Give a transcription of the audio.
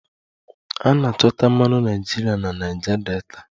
A na-achọta mmanụ naịjirịa na Niger Delta